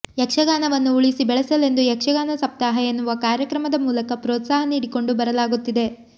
ಯಕ್ಷಗಾನವನ್ನು ಉಳಿಸಿ ಬೆಳೆಸಲೆಂದು ಯಕ್ಷಗಾನ ಸಪ್ತಾಹ ಎನ್ನುವ ಕಾರ್ಯಕ್ರಮದ ಮೂಲಕ ಪ್ರೋತ್ಸಾಹ ನೀಡಿಕೊಂಡು ಬರಲಾಗುತ್ತಿದೆ